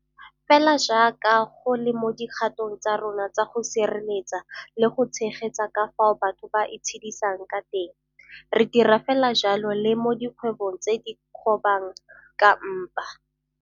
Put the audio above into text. Fela jaaka go le mo dikgatong tsa rona tsa go sireletsa le go tshegetsa ka fao batho ba itshedisang ka teng, re dira fela jalo le mo dikgwebong tse di kgobang ka mpa.